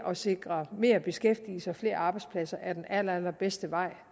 at sikre mere beskæftigelse og flere arbejdspladser er den allerallerbedste vej